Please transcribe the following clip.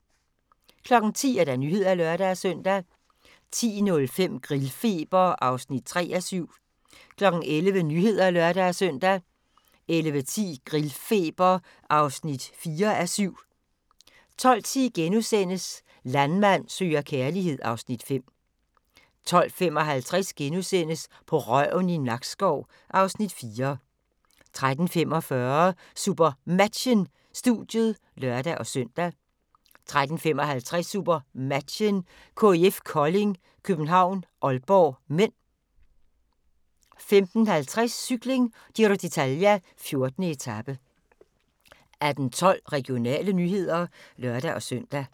10:00: Nyhederne (lør-søn) 10:05: Grillfeber (3:7) 11:00: Nyhederne (lør-søn) 11:10: Grillfeber (4:7) 12:10: Landmand søger kærlighed (Afs. 5)* 12:55: På røven i Nakskov (Afs. 4)* 13:45: SuperMatchen: Studiet (lør-søn) 13:55: SuperMatchen: KIF Kolding København-Aalborg (m) 15:50: Cykling: Giro d'Italia - 14. etape 18:12: Regionale nyheder (lør-søn)